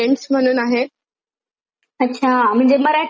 अच्छा म्हणजे मराठी हिंदी इंग्लिश कुठल्या पण बघतेस का?